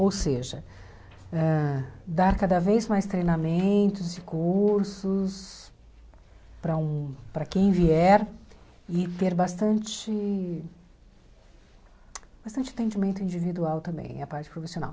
Ou seja, ãh dar cada vez mais treinamentos e cursos para um para quem vier e ter bastante bastante entendimento individual também, a parte profissional.